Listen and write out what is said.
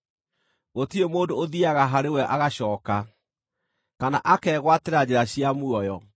Gũtirĩ mũndũ ũthiiaga harĩ we agacooka, kana akegwatĩra njĩra cia muoyo.